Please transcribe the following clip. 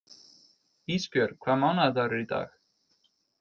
Ísbjörg, hvaða mánaðardagur er í dag?